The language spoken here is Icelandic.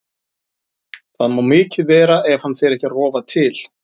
Það má mikið vera ef hann fer ekki að rofa til.